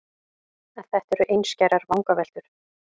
En þetta eru einskærar vangaveltur.